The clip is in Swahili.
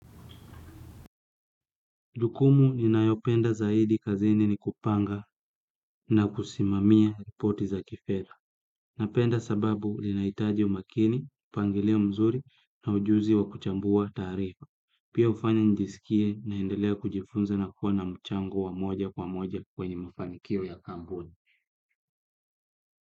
Jukumu ninayopenda zaidi kazini ni kupanga na kusimamia ripoti za kifedha. Napenda sababu linaitaji umakini, pangilio mzuri na ujuzi wa kuchambua taarifa. Pia ufanya njisikie naendelea kujifunza na kukua na mchango wa moja kwa moja kwenye mafanikio ya kampuni.